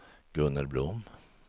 Gunnel Blom